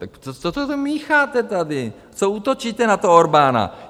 Tak co to mícháte tady, co útočíte na toho Orbána?